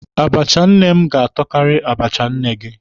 Abacha nne m ga-atọkari abacha nne gị.